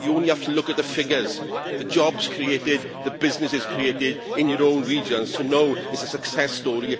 you only have to look at the figures, the jobs created, the businesses created, in your own regions, to know it is a success story.